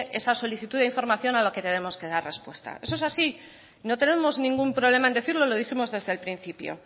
esa solicitud de información a la que tenemos que dar respuesta eso es así no tenemos ningún problema en decirlo lo dijimos desde el principio